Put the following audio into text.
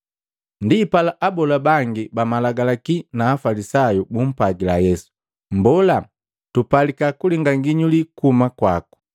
Ndipala abola bangi ba Malagalaki na Afalisayu bumpwagila Yesu, “Mmbola, tupalika kulinga nginyuli kuhuma kwaku.”